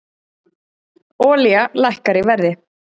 Olía lækkar í verði